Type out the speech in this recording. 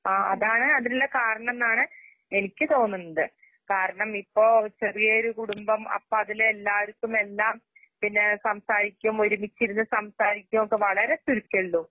ആ അതാണ്അതിലുള്ളകാരണംന്നാണ് എനിക്ക്തോന്നുണ്ട്. കാരണംഇപ്പോ ഒരുചെറിയോര്കുടുംബം അപ്പഅതിലെല്ലാവർക്കും എല്ലാം പിന്നേ സംസാരിക്കും ഒരുമിച്ചിരുന്ന്സംസാരിക്ക്യയൊക്കെവളരെചുരുക്കെയൊള്ളു.